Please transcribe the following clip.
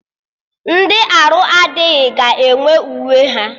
Ndị arụ adịghị ga-enwe uwe ha